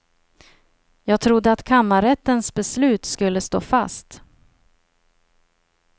Jag trodde att kammarrättens beslut skulle stå fast.